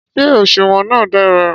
Ṣé òṣùwọ̀n náà dára?